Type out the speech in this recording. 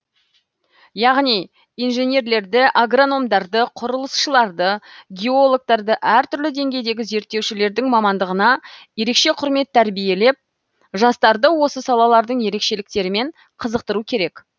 яғни инженерлерді агрономдарды құрылысшыларды геологтарды әртүрлі деңгейдегі зерттеушілердің мамандығына ерекше құрмет тәрбиелеп жастарды осы салалардың ерекшеліктерімен қызықтыру керек